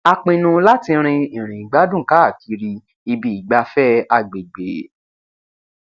a pinnu láti rin ìrìn ìgbádùn káàkiri ibi ìgbafẹ agbègbè